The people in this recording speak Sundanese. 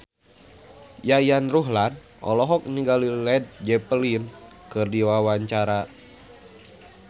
Yayan Ruhlan olohok ningali Led Zeppelin keur diwawancara